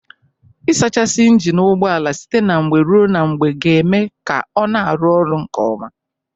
Ị sachasị ịnjịnị ụgbọala site na mgbe ruo na mgbe ga-eme ka ọ na-arụ ọrụ nke ọma.